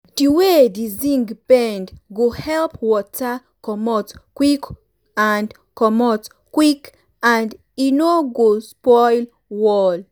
di way di zinc bend go help water comot quick and comot quick and e no go spoil wall.